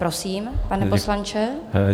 Prosím, pane poslanče.